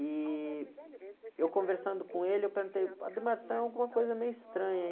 E eu conversando com ele, eu perguntei, está alguma coisa meio estranha?